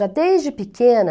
Já desde pequena,